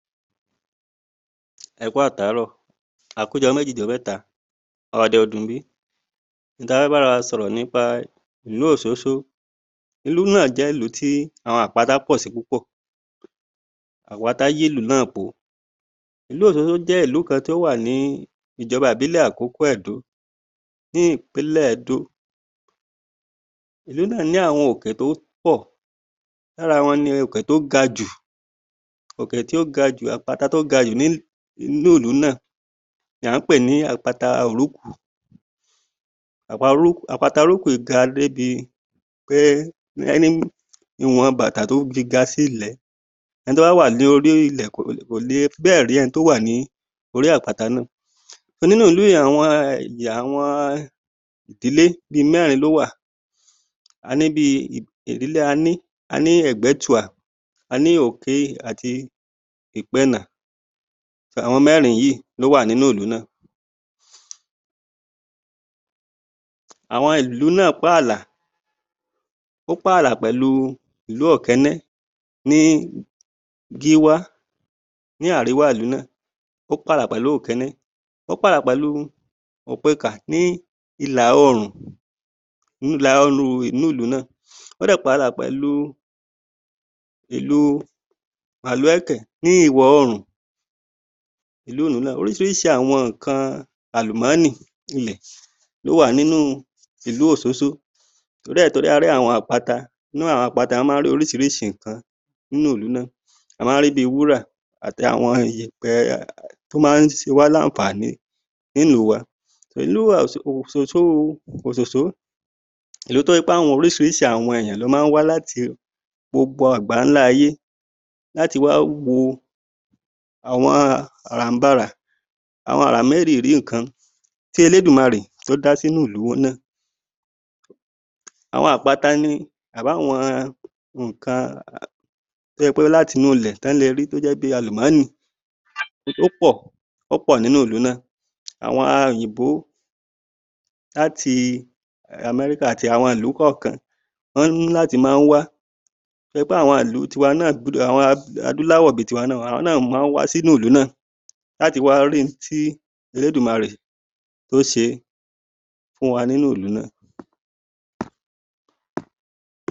Ẹ kú àtàárọ̀. A kúu jọ́-méjì-jọ́-mẹ́ta. Ọ̀ọ̀dẹ̀ ò dùn bí? N tá a fẹ́ bára wa sọ̀rọ̀ nípa ìlú Òṣóṣó. Ìlú náà jẹ́ ilú tí àwọn àpata pọ̀ sí púpọ̀. Àpata yílùú náà po. Ìlú Òṣóṣó jẹ́ ìlú kan tó wà ní ìjọba ìbílẹ̀ Àkókó-Ẹ̀dó ní ìpínlẹ̀ Ẹdó. Ìlú náà ní àwọn òkè tó pọ̀. Lára wọn ni òkè tó ga jù, òkè tí ó ga jù, àpata tó ga jù ní núùlú náà ni à ń pè ní àpata Òrókù. Àpata Òrókù yìí ga débi pé ìwọ̀n bàtà tó fi ga sí ilẹ̀, ẹni tó bá wà ní orí ilẹ̀ kò le, kò lè bẹ́ẹ̀ rí ẹni tó wà lórí àpata náà. Nínú ìlú yẹn àwọn um àwọn ìdílé bíi mẹ́rin ló wà. A ní bíi ìdílé, a ní, a ní Ẹ̀gbẹ́tùà, a ní Òké àti Ìpẹ́ẹ́nà. So, àwọn mẹ́rin yìí ló wà nínúùlú náà. Àwọn ìlú náà pààlà, ó pààlà pẹ̀lú ìlú Ọ̀kẹ́nẹ́ ní gíwá, ní àríwá ìlú náà, ó pààlà pẹ̀lú Òkéné. Ó pààlà pẹ̀lú Òpekà ní ìlà-oòrùn inú ìlú náà. Ó dé pààlà pẹ̀lú ìlú Màlúẹ̀kẹ̀ ní ìwọ̀-oòrùn ilúùlú náà. Orísirísi àwọn nǹkan àlùmọ́nì ilẹ̀ ló wà nínú ìlú Òsósó. Torí ẹ̀, torí a rí àwọn àpata ńnú àwọn àpata, wọ́n máa ń rí orísirísi nǹkan nínúùlú náà. A máa ń rí bíi wúrà àti àwọn yèèpẹ̀ tó máa ń se wá làǹfààní nílùú wa. Ìlú wa Òsòsó, ìlú tó jẹ́ pé àwọn orísirísi àwọn èèyàn ló máa ń wá láti gbogbo àgbàńlá ayé láti wá wo àwọn àrànbarà, àwọn àrà méríyìírí ǹǹkan tí Elédùmarè tó dá sínúùlú náà. Àwọn àpata ni abáwọn nǹkan tó jẹ́ pé láti inúulẹ̀ tán le rí tó jẹ́ bíi àlùmọ́nì ó pọ̀, ó pọ̀ nínúùlú náà. Àwọn um òyìnbó láti um Amẹ́ríkà àti àwọnọ̀nlú kọ̀ọ̀kan, wọ́n ní láti máa ń wá pé ìlú tiwa náà, àwọn adúláwọ̀ bíi tiwa náà, àwọn náà máa ń wá sínúùlú náà láti wá rí n tí Elédùmarè tó se fún wa nínúùlú náà..